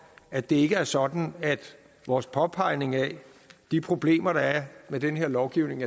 at det ikke er sådan at vores påpegning af de problemer der er med den her lovgivning